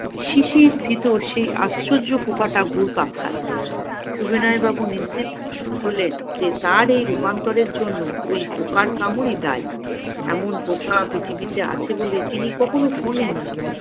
শিশির ভেতর সেই আশ্চর্য পোকাটা ঘুরপাক খাচ্ছে। সবিনয় বাবু নিশ্চিত হলেন যে তার এই রূপান্তর এর জন্য ঐ পোকার কামড়ই দায়ী এমন পোকা পৃথিবীতে আছে বলে তিনি কখনো শুনেন নি